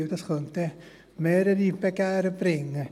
Denn das könnte dann mehrere Begehren bringen.